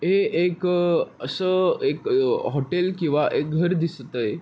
हे एक अस एक हॉटेल किवा एक घर दिसत आहे.